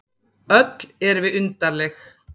Öll erum við undarleg.